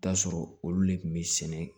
Taa sɔrɔ olu de kun bɛ sɛnɛ